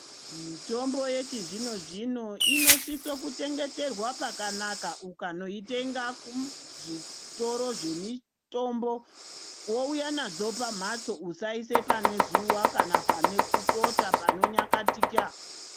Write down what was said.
Mitombo yechizvino-zvino inosiso kuchengeterwa pakanaka. Ukanoitenga kuzvitoro zvemitombo wouya nadzo pamhatso usaise pane zuwa kana pane kutota kana panonyakatika.